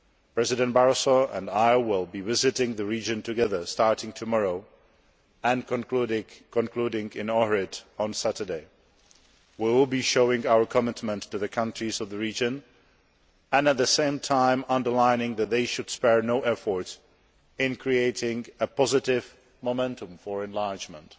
President Barroso and I will be visiting the region together, starting tomorrow and concluding in Ohrid on Saturday. We will be showing our commitment to the countries of the region and, at the same time, underlining that they should spare no effort in creating a positive momentum for enlargement.